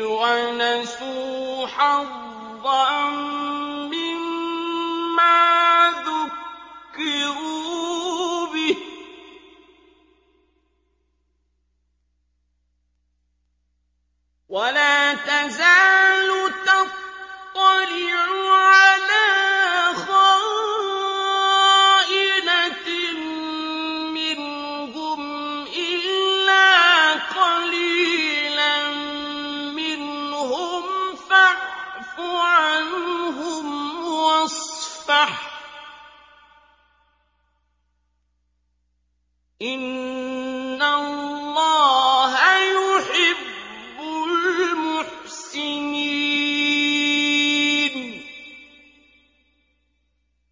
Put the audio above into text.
وَنَسُوا حَظًّا مِّمَّا ذُكِّرُوا بِهِ ۚ وَلَا تَزَالُ تَطَّلِعُ عَلَىٰ خَائِنَةٍ مِّنْهُمْ إِلَّا قَلِيلًا مِّنْهُمْ ۖ فَاعْفُ عَنْهُمْ وَاصْفَحْ ۚ إِنَّ اللَّهَ يُحِبُّ الْمُحْسِنِينَ